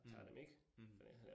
Mh, mh